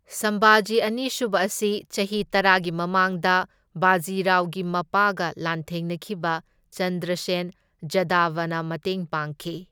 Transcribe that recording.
ꯁꯝꯚꯥꯖꯤ ꯑꯅꯤꯁꯨꯕ ꯑꯁꯤ ꯆꯍꯤ ꯇꯔꯥꯒꯤ ꯃꯃꯥꯡꯗ ꯕꯥꯖꯤ ꯔꯥꯎꯒꯤ ꯃꯄꯥꯒ ꯂꯥꯟꯊꯦꯡꯅꯈꯤꯕ ꯆꯟꯗ꯭ꯔꯁꯦꯟ ꯖꯥꯙꯕꯅ ꯃꯇꯦꯡ ꯄꯥꯡꯈꯤ꯫